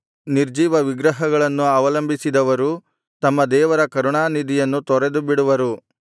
ನಿರ್ಜೀವ ವಿಗ್ರಹಗಳನ್ನು ಅವಲಂಬಿಸಿದವರು ತಮ್ಮ ದೇವರ ಕರುಣಾನಿಧಿಯನ್ನು ತೊರೆದುಬಿಡುವರು